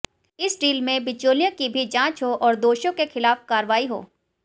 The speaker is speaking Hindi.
इस डील में बिचौलियों की भी जांच हो और दोषियों के खिलाफ कार्रवाई हो